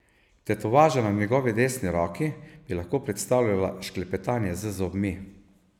Tetovaža na njegovi desni roki bi lahko predstavljala šklepetanje z zobmi.